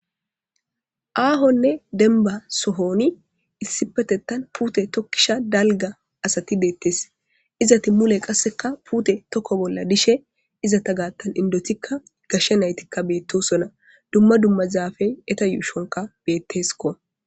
aahonne denba sohoni issi petettan puute tokkisha dalga asati deettes izati mule qasseka puute tokko bolla dishe izata gaattan indotikka gashshe naytikka beettosona dumma dumma zaafey eta yuushonka betteskko